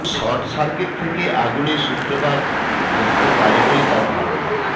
short circuit থেকে আগুনের সূত্রপাত ঘটতে পারে বলে তাঁর ধারণা